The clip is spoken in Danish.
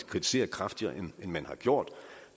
kritisere kraftigere end man har gjort